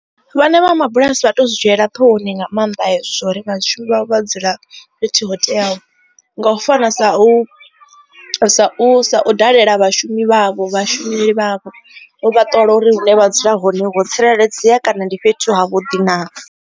Vhane vha mabulasi vha tu zwi dzhiela ṱhohoni nga maanḓa hezwo uri vhashumi vha dzula fhethu ho teaho nga u fana sa u dalela vhashumi vhavho vhashumeli vhavho u vha ṱola uri hune vha dzula hone ho tsireledzea kana ndi fhethu havhuḓi na.